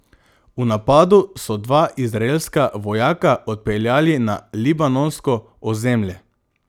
V napadu so dva izraelska vojaka odpeljali na libanonsko ozemlje.